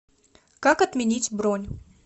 как отменить бронь